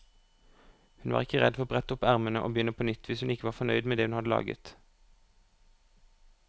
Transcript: Hun var ikke redd for å brette opp ermene og begynne på nytt hvis hun ikke var fornøyd med det hun hadde laget.